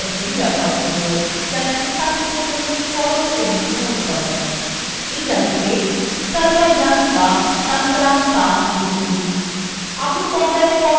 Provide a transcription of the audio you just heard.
ইংরেজিতে sarvajanika tantramsha লিখুন